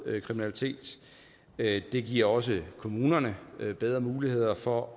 kriminalitet det det giver også kommunerne bedre muligheder for